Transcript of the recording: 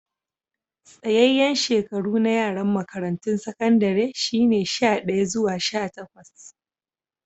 Tsayayen shekaru na yaran makarantun sakandare shine sha daya zuwa sha takwas.